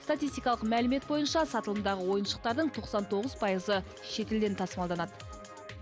статистикалық мәлімет бойынша сатылымдағы ойыншықтардың тоқсан тоғыз пайызы шетелден тасымалданады